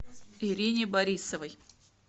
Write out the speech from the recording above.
ирине борисовой